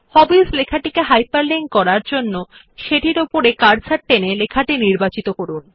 হবিস লেখাটিকে হাইপারলিংক করার জন্য প্রথমে শিরোনাম হবিস বরাবর কার্সার টেনে লেখাটি নির্বাচিত করুন